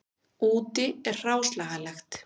Úti er hráslagalegt.